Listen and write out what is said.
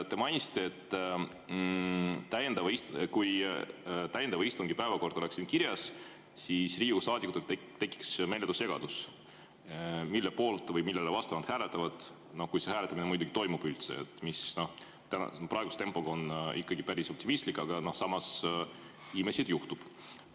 Te mainisite, et kui täiendava istungi päevakord oleks siin kirjas, siis Riigikogu saadikutel tekiks meeletu segadus, mille poolt või mille vastu nad hääletavad – kui see hääletamine muidugi toimub üldse, milles ma praeguse tempo korral optimistlik, samas imesid juhtub.